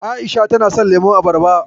A'isha tana son lemon abarba.